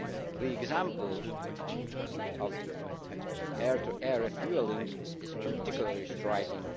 The example of air to air refuelling is particularly striking.